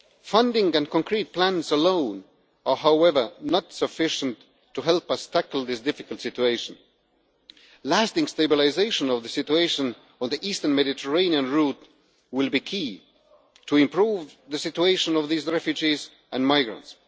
Funding and concrete plans alone are, however, not sufficient to help us tackle this difficult situation. Lasting stabilisation of the situation on the eastern Mediterranean route will be key to improving the situation of these refugees and migrants.